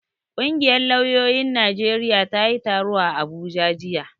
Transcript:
Ƙungiyar lauyoyin Najeriya ta yi taro a Abuja jiya.